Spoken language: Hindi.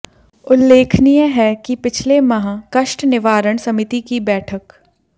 उल्लेखनीय है कि पिछले माह कष्ट निवारण समिति की बैठक